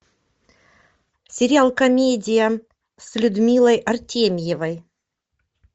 сериал комедия с людмилой артемьевой